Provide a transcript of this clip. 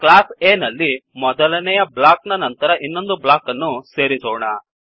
class A ನಲ್ಲಿ ಮೊದಲನೆಯ block ನ ನಂತರ ಇನ್ನೊಂದು ಬ್ಲಾಕ್ ಅನ್ನು ಸೇರಿಸೋಣ